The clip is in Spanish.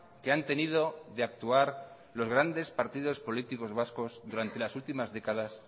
que han tenido de actuar los grandes partidos políticos vascos durante las últimas décadas